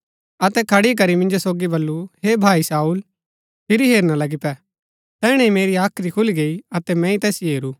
अतै खड़ी करी मिन्जो सोगी बल्लू हे भाई शाऊल फिरी हेरना लगी पै तैहणै ही मेरी हाख्री खुली गई अतै मैंई तैसिओ हेरू